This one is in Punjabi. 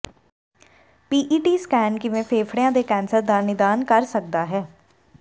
ਪੀਈਟੀ ਸਕੈਨ ਕਿਵੇਂ ਫੇਫੜਿਆਂ ਦੇ ਕੈਂਸਰ ਦਾ ਨਿਦਾਨ ਕਰ ਸਕਦਾ ਹੈ